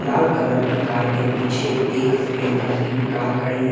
लाल colour की car के पीछे एक सफेद कलर की भी कार खड़ी है ।